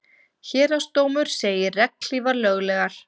Héraðsdómur segir regnhlífar löglegar